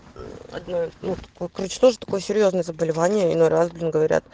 адно ну короче тоже такое серьёзное заболевание иной раз блин говорят